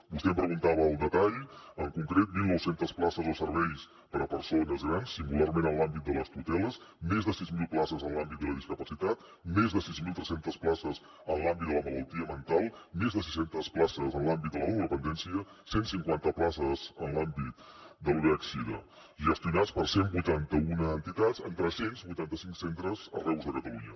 vostè em preguntava el detall en concret mil nou cents places de serveis per a persones grans singularment en l’àmbit de les tuteles més de sis mil places en l’àmbit de la discapacitat més de sis mil tres cents places en l’àmbit de la malaltia mental més de sis centes places en l’àmbit de la dependència cent cinquanta places en l’àmbit del vih sida gestionades per cent i vuitanta un entitats en tres cents i vuitanta cinc centres arreu de catalunya